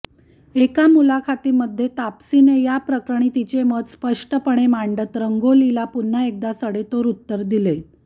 एका मुलाखतीमध्ये तापसीने या प्रकरणी तिचे मत स्पष्टपणे मांडत रंगोलीला पुन्हा एकदा सडेतोड उत्तर दिले